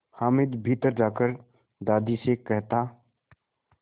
हामिद भीतर जाकर दादी से कहता